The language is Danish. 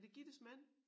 Er det Gittes mand?